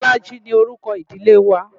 Bolaji ni orúkọ ìdílé wa.